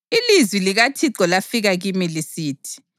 Ilizwi likaThixo lafika kimi lisithi: